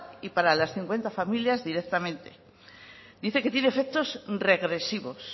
y para las cincuenta familias directamente dice que tiene efectos regresivos